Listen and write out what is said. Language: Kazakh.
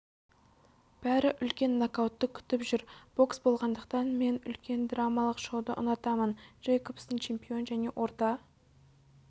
бәрі үлкен нокаутты күтіп жүр бокс болғандықтан мен үлкен драмалық шоуды ұнатамын джейкобстың чемпион және орта